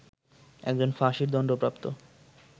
একজন ফাঁসির দণ্ডপ্রাপ্ত